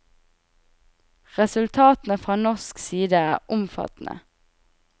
Resultatene fra norsk side er omfattende.